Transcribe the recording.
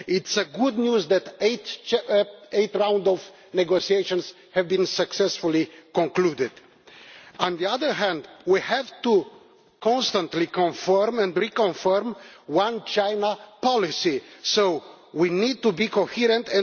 It is good news that eight rounds of negotiations have been successfully concluded. On the other hand, we have to constantly build and rebuild the One China policy, so we need to be coherent.